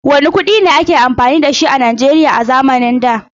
Wanne kuɗi ne a ke amfani da shi Najeriya a zamanin da?